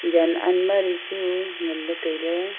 jan almari chu ngan ley tai ley.